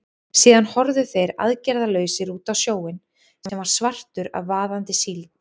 Síðan horfðu þeir aðgerðalausir út á sjóinn, sem var svartur af vaðandi síld.